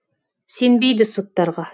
сенбейді соттарға